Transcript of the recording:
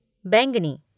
बैंगनी